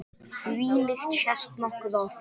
Þvílíkt sést nokkuð oft.